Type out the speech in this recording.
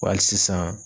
Wa hali sisan